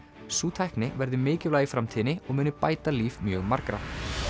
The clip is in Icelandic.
sú tækni verði mikilvæg í framtíðinni og muni bæta líf mjög margra